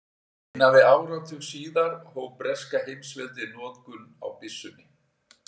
Innan við áratug síðar hóf breska heimsveldið notkun á byssunni.